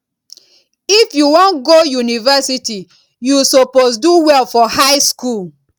if you wan go university you suppose do well for high school